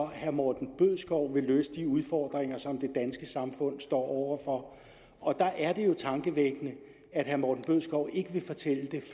herre morten bødskov vil løse de udfordringer som det danske samfund står over for og der er det jo tankevækkende at herre morten bødskov ikke vil fortælle det